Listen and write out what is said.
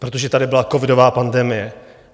Protože tady byla covidová pandemie.